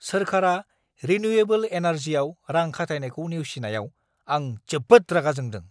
सोरखारा रिनिउएबोल एनार्जियाव रां खाथायनायखौ नेवसिनायाव आं जोबोद रागा जोंदों।